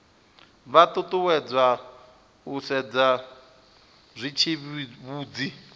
vha ṱuṱuwedzwa u sedza zwitsivhudzi